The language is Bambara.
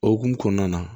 O hukumu kɔnɔna na